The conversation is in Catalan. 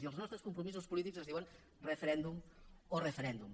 i els nostres compromisos polítics es diuen referèndum o referèndum